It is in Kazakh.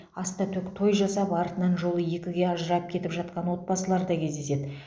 ас та төк той жасап артынан жолы екіге ажырап кетіп жатқан отбасылар да кездеседі